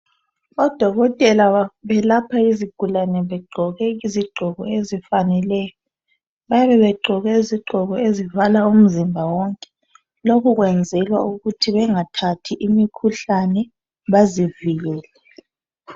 Odokotela bayelapha izigulane begqoke izigqoko esifaneleyo. Bayabe begqoke izigqoko ezivala umzimba wonke. Lokhu kwenzelwa ukuthi bengathathi imikhuhlane bazivikele.